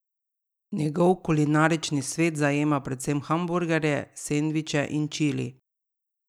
Njegov kulinarični svet zajema predvsem hamburgerje, sendviče in čili.